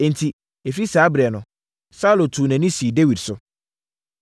Enti, ɛfiri saa ɛberɛ no, Saulo tuu nʼani sii Dawid so.